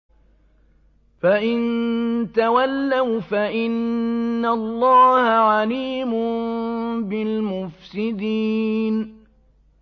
فَإِن تَوَلَّوْا فَإِنَّ اللَّهَ عَلِيمٌ بِالْمُفْسِدِينَ